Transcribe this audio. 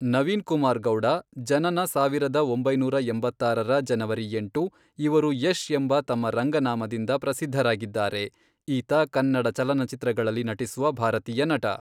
ನವೀನ್ ಕುಮಾರ್ ಗೌಡ , ಜನನ ಸಾವಿರದ ಒಂಬೈನೂರ ಎಂಬತ್ತಾರರ ಜನವರಿ ಎಂಟು, ಇವರು ಯಶ್ ಎಂಬ ತನ್ನ ರಂಗನಾಮದಿಂದ ಪ್ರಸಿದ್ಧರಾಗಿದ್ದಾರೆ, ಈತ ಕನ್ನಡ ಚಲನಚಿತ್ರಗಳಲ್ಲಿ ನಟಿಸುವ ಭಾರತೀಯ ನಟ.